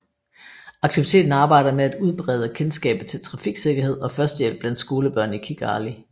Aktiviteten arbejder med at udbrede kendskabet til trafiksikkerhed og førstehjælp blandt skolebørn i Kigali